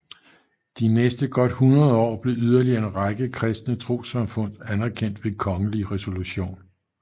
De næste godt hundrede år blev yderligere en række kristne trossamfund anerkendt ved kongelig resolution